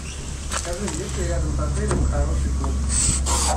скажи есть ли рядом с отелем хороший клуб